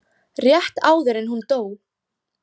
Rétt áður en hún dó.